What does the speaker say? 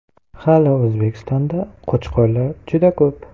Hali O‘zbekistonda Qo‘chqorlar juda ko‘p.